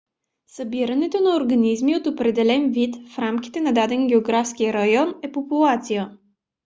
събирането на организми от определен вид в рамките на даден географски район е популация